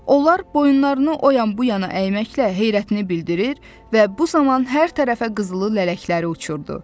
Onlar boyunlarını o yan-bu yana əyməklə heyrətini bildirir və bu zaman hər tərəfə qızılı lələkləri uçururdu.